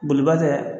Boliba kɛ